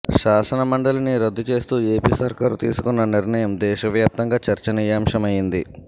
శాసన మండలిని రద్దు చేస్తూ ఏపీ సర్కారు తీసుకున్న నిర్ణయం దేశవ్యాప్తంగా చర్చనీయాంశమైంది